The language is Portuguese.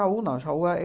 não. Jaú a é